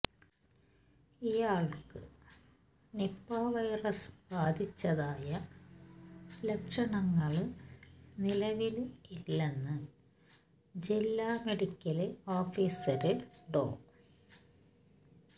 ഇയാള്ക്ക് Nipah virus ബാധിച്ചതായ ലക്ഷണങ്ങള് നിലവില് ഇല്ലെന്ന് ജില്ലാ മെഡിക്കല് ഓഫീസര് ഡോ